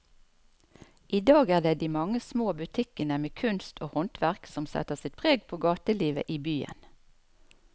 I dag er det de mange små butikkene med kunst og håndverk som setter sitt preg på gatelivet i byen.